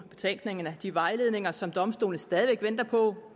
betænkningerne og de vejledninger som domstolene stadig væk venter på